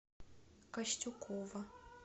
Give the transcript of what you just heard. костюкова